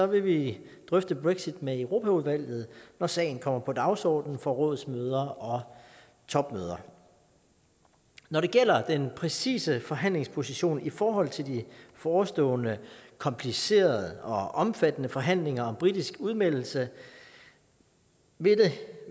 vil vi drøfte brexit med europaudvalget når sagen kommer på dagsordenen for rådsmøder og topmøder når det gælder den præcise forhandlingsposition i forhold til de forestående komplicerede og omfattende forhandlinger om britisk udmeldelse vil det